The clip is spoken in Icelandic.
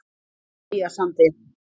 Eyjasandi